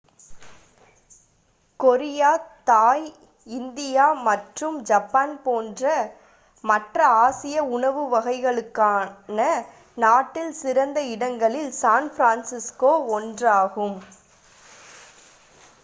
Korea Thai India மற்றும் Japan போன்ற மற்ற ஆசிய உணவு வகைகளுக்கான நாட்டின் சிறந்த இடங்களில் சான் பிரான்சிஸ்கோ ஒன்றாகும்